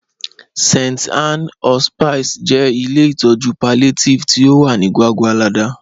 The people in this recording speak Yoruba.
St. Ann's Hospice jẹ ilẹ̀ itọju palliative ti o wà ni Gwàgwàlada